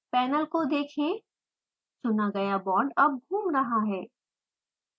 panel को देखें चुना गया बॉन्ड अब घूम रहा है